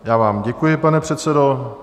Já vám děkuji, pane předsedo.